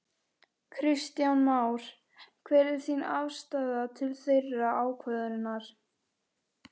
Kristján Már: Hver er þín afstaða til þeirrar ákvörðunar?